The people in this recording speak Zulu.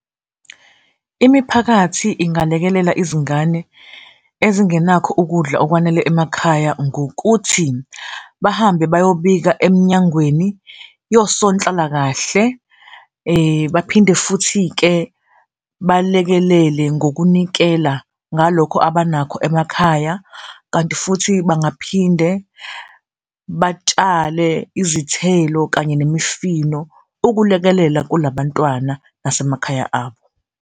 Imiphakathi ingalekelela izingane ezinganakho ukudla okwanele emakhaya ngokuthi bahambe bayobika emnyangweni yosonhlalakahle baphinde futhi-ke balekelele ngokunikela ngalokho abanakho emakhaya. Kanti futhi bangaphinde batshale izithelo kanye nemifino ukulekelela kula bantwana nasemakhaya abo.